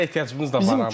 Bizə ehtiyacımız da var idi.